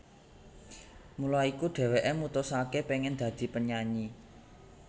Mula iku dheweke mutusake pengen dadi penyanyi